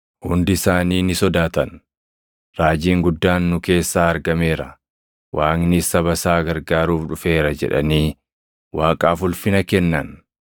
Hundi isaanii ni sodaatan; “Raajiin guddaan nu keessaa argameera. Waaqnis saba isaa gargaaruuf dhufeera” jedhanii Waaqaaf ulfina kennan.